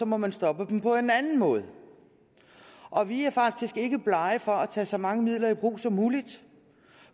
må man stoppe dem på den anden måde og vi er faktisk ikke blege for at tage så mange midler i brug som muligt